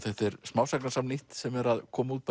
þetta er smásagnasafn nýtt sem er að koma út